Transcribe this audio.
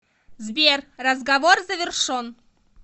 сбер разговор завершон